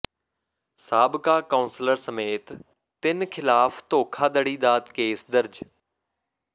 ਸਾਬਕਾ ਕੌਂਸਲਰ ਸਮੇਤ ਤਿੰਨ ਖ਼ਿਲਾਫ਼ ਧੋਖਾਧੜੀ ਦਾ ਕੇਸ ਦਰਜ